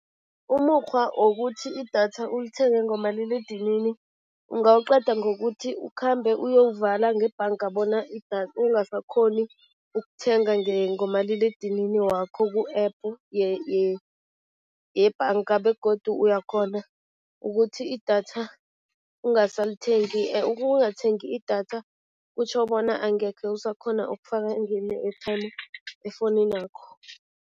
Umukghwa wokuthi idatha ulithenge ngomaliledinini, ungawuqeda ngokuthi ukhambe uyowuvala ngebhanga bona ungasakghoni ukuthenga ngomaliledinini wakho ku-App yebhanga begodu uyakghona ukuthi idatha ungasalithengi. Ukungathengi idatha kutjho bona angekhe usakghona ukufaka airtime efowuninakho.